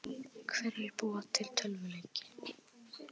Hverjir búa til tölvuleiki?